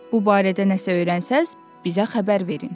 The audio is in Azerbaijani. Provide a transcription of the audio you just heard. Bu barədə nəsə öyrənsəniz, bizə xəbər verin.